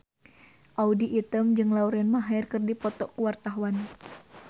Audy Item jeung Lauren Maher keur dipoto ku wartawan